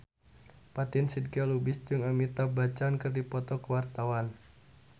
Fatin Shidqia Lubis jeung Amitabh Bachchan keur dipoto ku wartawan